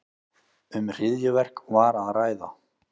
Um hryðjuverk var að ræða